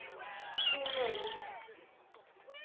Sú mynd.